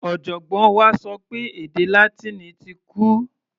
Ọ̀jọ̀gbọ́n wa sọ pé èdè Látíìnì ti kú.